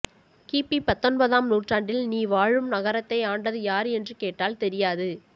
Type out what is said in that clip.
கிபி பத்தொன்பதாம் நூற்றாண்டில் நீ வாழும் நகரத்தை ஆண்டது யார் என்று கேட்டால் தெரியாது